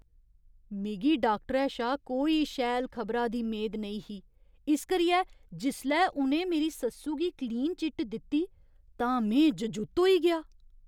मिगी डाक्टरै शा कोई शैल खबरा दी मेद नेईं ही इस करियै जिसलै उ'नें मेरी सस्सु गी क्लीन चिट दित्ती तां में जजुत्त होई गेआ।